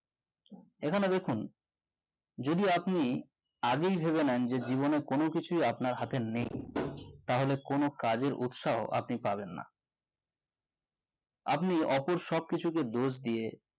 এখানে দেখুন যদি আপনি আগে ভেবে নেন যে জীবনে কোন কিছুই আপনার হাতে নেই তাহলে কোন কাজে উৎসাহে আপনি পাবেন না আপনি অপর সবকিছুকে দোষ দিয়ে